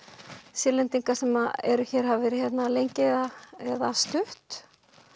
Sýrlendinga sem eru hér hafa verið hérna lengi eða eða stutt